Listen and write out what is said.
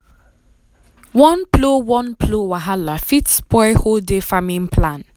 one plow one plow wahala fit spoil whole day farming plan.